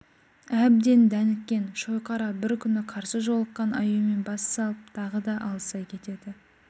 әбден дәніккен шойқара бір күні қарсы жолыққан аюмен бассалып тағы да алыса кетеді